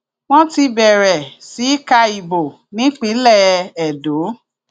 wọn ti bẹrẹ sí í ka ìbò nípínlẹ edo